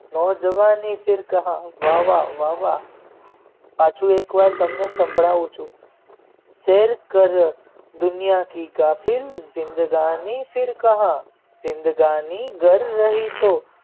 નવ જવાની કહા ફિર કહા વાહ વાહ પાછું એક વાર તમને સાંભળવું છું શેર કરો દુનિયાથી કાબિલ જિંદગાની ફિર કહા જિંદગાની ડર રહી હે તો.